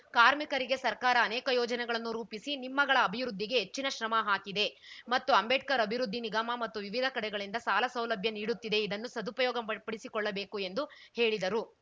ಕಾರ್ಮಿಕರಿಗೆ ಸರ್ಕಾರ ಅನೇಕ ಯೋಜನೆಗಳನ್ನು ರೂಪಿಸಿ ನಿಮ್ಮಗಳ ಅಭಿವೃದ್ಧಿಗೆ ಹೆಚ್ಚಿನ ಶ್ರಮ ಹಾಕಿದೆ ಮತ್ತು ಅಂಬೇಡ್ಕರ್‌ ಅಭಿವೃದ್ಧಿ ನಿಗಮ ಮತ್ತು ವಿವಿಧ ಕಡೆಗಳಿಂದ ಸಾಲ ಸೌಲಭ್ಯ ನೀಡುತ್ತಿದೆ ಇದನ್ನು ಸದುಪಯೋಗ ಪಡಿಸ್ ಪಡಿಸಿಕೊಳ್ಳಬೇಕು ಎಂದು ಹೇಳಿದರು